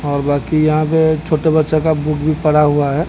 और बाकी यहां पे छोटे बच्चे का बुक भी पड़ा हुआ है।